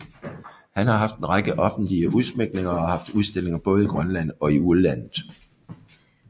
Han har haft en række offentlige udsmykninger og har haft udstillinger både i Grønland og i udlandet